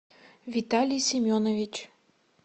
виталий семенович